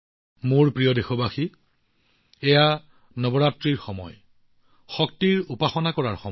মোৰ মৰমৰ দেশবাসীসকল এইটো নৱৰাত্ৰিৰ সময় শক্তিৰ উপাসনা কৰাৰ সময়